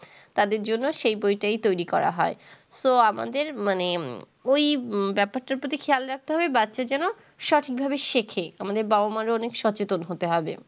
তাদের জন্য সেই বইটাই তৈরি করা হয়। তো আমাদের মানে ওই ব্যাপারটার প্রতি খেয়াল রাখতে হয় বাচ্চা যেন সঠিকভাবে শেখে। আমাদের বাবা-মা-রও অনেক সচেতন হতে হবে।